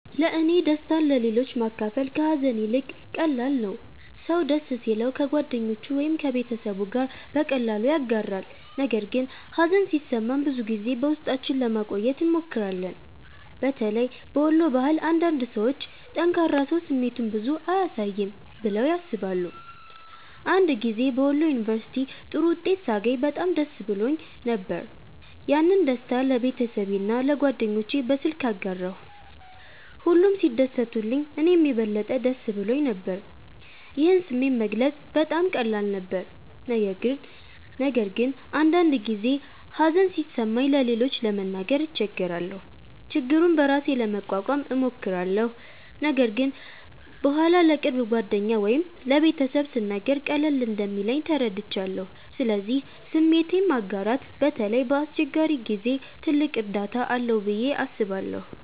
1ለእኔ ደስታን ለሌሎች ማካፈል ከሀዘን ይልቅ ቀላል ነው። ሰው ደስ ሲለው ከጓደኞቹ ወይም ከቤተሰቡ ጋር በቀላሉ ያጋራል፣ ነገር ግን ሀዘን ሲሰማን ብዙ ጊዜ በውስጣችን ለማቆየት እንሞክራለን። በተለይ በወሎ ባህል አንዳንድ ሰዎች “ጠንካራ ሰው ስሜቱን ብዙ አያሳይም” ብለው ያስባሉ። አንድ ጊዜ በወሎ ዩንቨርስቲ ጥሩ ውጤት ሳገኝ በጣም ደስ ብሎኝ ነበር። ያንን ደስታ ለቤተሰቤና ለጓደኞቼ በስልክ አጋራሁ፣ ሁሉም ሲደሰቱልኝ እኔም የበለጠ ደስ ብሎኝ ነበር። ይህን ስሜት መግለጽ በጣም ቀላል ነበር። ነገር ግን አንዳንድ ጊዜ ሀዘን ሲሰማኝ ለሌሎች ለመናገር እቸገራለሁ። ችግሩን በራሴ ለመቋቋም እሞክራለሁ፣ ነገር ግን በኋላ ለቅርብ ጓደኛ ወይም ለቤተሰብ ስናገር ቀለል እንደሚለኝ ተረድቻለሁ። ስለዚህ ስሜትን ማጋራት በተለይ በአስቸጋሪ ጊዜ ትልቅ እርዳታ አለው ብዬ አስባለሁ።